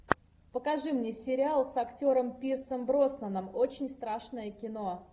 покажи мне сериал с актером пирсом броснаном очень страшное кино